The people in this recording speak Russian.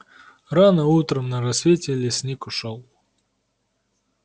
рано утром на рассвете лесник ушёл